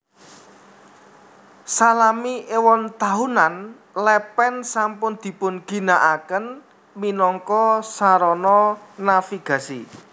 Salami éwon taunan lèpèn sampun dipun ginaaken minangka sarana navigasi